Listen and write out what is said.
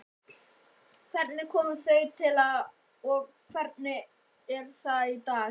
Hvernig kom það til og hvernig er það í dag?